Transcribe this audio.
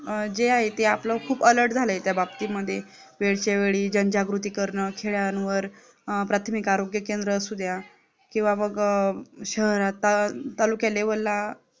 जे आहे ते आपला खूप alert खूप झालंय ते त्या बाबतीमध्ये आपल्या वेळच्यावेळी जनजागृती करणं खेळ्यांवर प्राथमिक आरोग्य केंद्र असू द्या किंवा मग शहरात तालुके level ला